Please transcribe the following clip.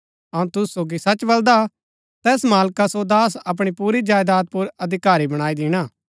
अऊँ तुसु सोगी सच बलदा तैस मालका सो दास अपणी पुरी जायदात पुर अधिकारी बणाई दिणा